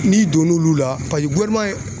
N'i donn'olu la